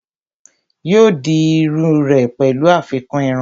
yóò di iru rẹ̀ pẹ̀lú àfikún irun